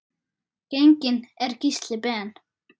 Genginn er Gísli Ben.